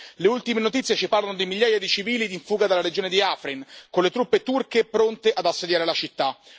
Le ultime notizie ci parlano di migliaia di civili in fuga dalla regione di Afrin, con le truppe turche pronte ad assediare la città.